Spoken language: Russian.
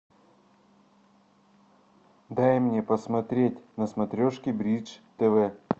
дай мне посмотреть на смотрешке бридж тв